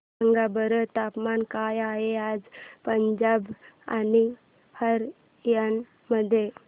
सांगा बरं तापमान काय आहे आज पंजाब आणि हरयाणा मध्ये